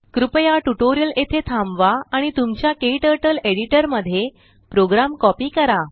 कृपया ट्यूटोरियल येथे थांबवा आणि तुमच्या क्टर्टल एडिटर मध्ये प्रोग्राम कॉपी करा